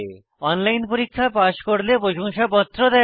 online পরীক্ষা pass করলে প্রশংসাপত্র দেয়